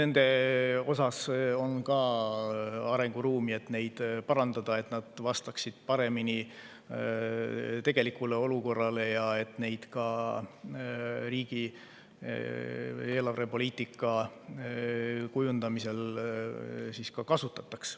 Siin on ka arenguruumi, et neid parandada, nii et nad vastaksid paremini tegelikule olukorrale ja et neid ka riigi eelarvepoliitika kujundamisel kasutataks.